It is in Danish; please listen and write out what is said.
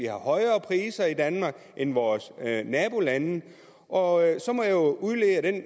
højere priser i danmark end i vores nabolande og